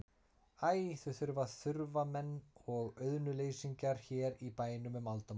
Æ, þau voru þurfamenn og auðnuleysingjar hér í bænum um aldamót.